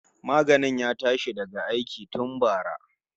Maganin ya tashi daga aiki tun bara